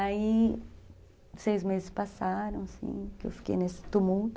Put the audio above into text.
Aí seis meses passaram, assim, que eu fiquei nesse tumulto.